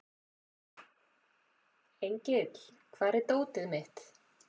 Engill, hvar er dótið mitt?